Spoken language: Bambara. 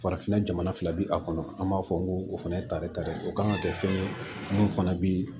Farafinna jamana fila bi a kɔnɔ an b'a fɔ ko o fana ye tari tare o kan ka kɛ fɛn ye mun fana bɛ